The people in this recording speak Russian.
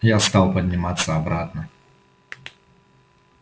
я стал подниматься обратно